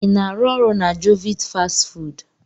Ị na-arụ ọrụ na jovit fastị fụụdụ?